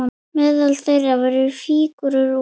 Meðal þeirra voru fígúrur úr